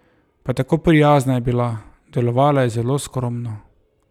Pa tako prijazna je bila, delovala je zelo skromno.